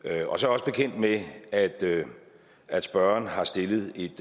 er jeg også også bekendt med at at spørgeren har stillet et